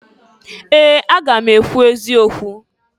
Ee! Aga m ekwu eziokwu.